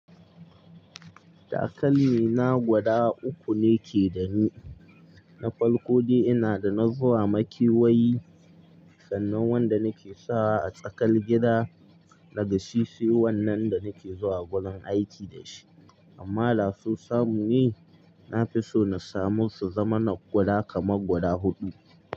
Takalmi na gwada uku ne ke da ni. Na farko dai ina da na zuwa makewayi, sannan wanda nake sawa a tsakar gida, da gashi sai wannan da nake zuwa wurin aiki da shi. Amma da so samu ne, nafiso na samu su zama na gwada kama gwada huɗu.